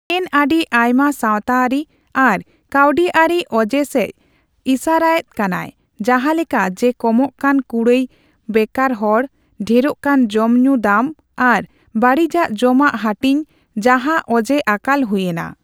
ᱥᱮᱱ ᱟᱹᱰᱤ ᱟᱭᱢᱟ ᱥᱟᱣᱛᱟᱹᱨᱤ ᱟᱨ ᱠᱟᱹᱣᱰᱤᱟᱹᱨᱤ ᱚᱡᱮ ᱥᱮᱪ ᱤᱥᱟᱹᱨᱟᱭᱮᱫ ᱠᱟᱱᱟᱭ, ᱡᱟᱦᱟᱸᱞᱮᱠᱟ ᱡᱮ ᱠᱚᱢᱚᱜ ᱠᱟᱱ ᱠᱩᱲᱟᱹᱭ, ᱵᱮᱠᱟᱨᱦᱚᱲ, ᱰᱷᱮᱨᱚᱜ ᱠᱟᱱ ᱡᱚᱢ ᱧᱩ ᱫᱟᱢ ᱟᱨ ᱵᱟᱹᱲᱤᱡᱟᱜ ᱡᱚᱢᱟᱜ ᱦᱟᱹᱴᱤᱧ, ᱡᱟᱦᱟᱸ ᱚᱡᱮ ᱟᱠᱟᱞ ᱦᱩᱭᱮᱱᱟ᱾